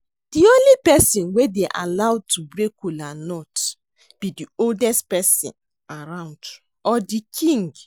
The only person wey dey allowed to break kola nut be the oldest person around or the King